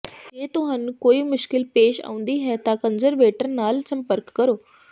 ਜੇ ਤੁਹਾਨੂੰ ਕੋਈ ਮੁਸ਼ਕਲ ਪੇਸ਼ ਆਉਂਦੀ ਹੈ ਤਾਂ ਕੰਜ਼ਰਵੇਟਰ ਨਾਲ ਸੰਪਰਕ ਕਰੋ